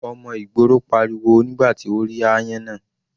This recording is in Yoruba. Ọmọ ìgboro pariwo nígbà tí ó rí áyán náà.